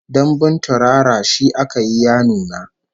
Dambun turara shi aka yi ya nuna